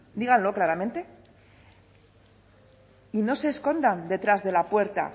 díganlo claramente y no se escondan detrás de la puerta